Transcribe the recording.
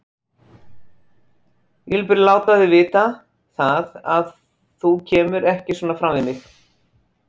Ég vil bara láta þig vita það, að þú kemur ekki svona fram við mig!